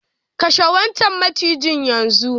Kashe wancan macijin yanzu!